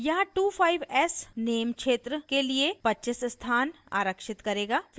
यहाँ 25s name क्षेत्र के लिए 25s स्थान आरक्षित करेगा